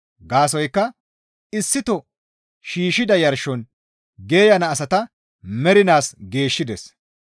Gaasoykka issito shiishshida yarshon geeyana asata mernaas geeshshides.